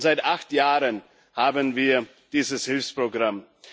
Und seit acht Jahren haben wir dieses Hilfsprogramm.